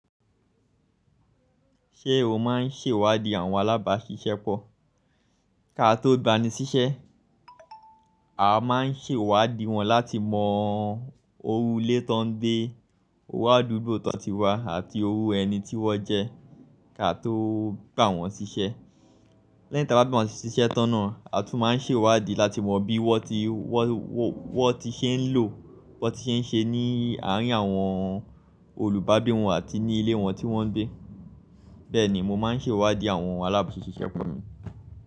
Ṣé o máa ń ṣèwádìí àwọn alábàáṣiṣẹ́ pọ̀? Ká tó gba ni ṣiṣẹ́, a máa ń ṣèwádìí wọn láti mọ iru lé tán gbé, iru àdúgbò tán ti wà àti iru ẹni tí wọ́n jẹ́ ká tó gbà wọ́n ṣiṣẹ́. Lẹ́yin tí a bá gbà wọ́n ṣiṣẹ́ tán náà, a tún máa ń ṣèwádìí láti mọ bí wọ́n ti, wọ́n ti ṣe ń lò, wọ́n ti ṣe ń ṣe ní àárín àwọn olùbágbe wọn àti ní ilé wọn tí wọ́n ń gbé. Bẹ́ẹ̀ ni mo máa ń ṣèwádìí àwọn alábàáṣiṣẹ́ pọ̀ mi.